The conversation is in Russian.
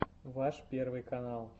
ваш первый канал